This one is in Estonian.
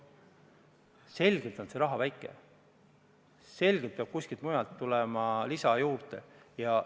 Selgelt on seegi raha väike, selgelt peab kuskilt mujalt lisa juurde tulema.